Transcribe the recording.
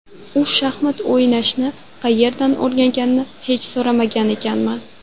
U shaxmat o‘ynashni qayerdan o‘rganganini hech so‘ramagan ekanman.